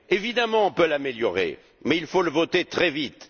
Évidemment, on peut l'améliorer mais il faut le voter très vite.